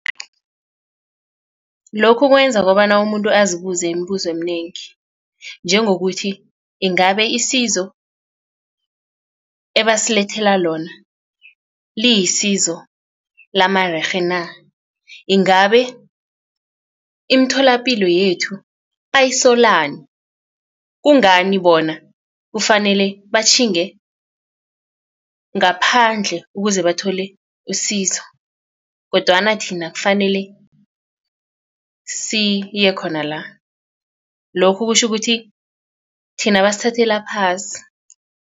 Lokhu kwenza kobana umuntu azibuze imibuzo eminengi njengokuthi ingabe isizo ebasilethela lona liyisizo lamarerhe na. Ingabe imitholapilo yethu bayisolani kungani bona kufanele batjhinge ngaphandle ukuze bathole usizo kodwana thina kufanele siye khona la. Lokhu kutjho ukuthi thina basithathela phasi.